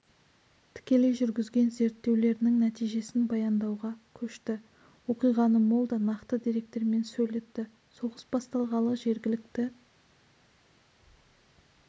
тікелей жүргізген зерттеулерінің нәтижесін баяндауға көшті оқиғаны мол да нақты деректермен сөйлетті соғыс басталғалы жергілікті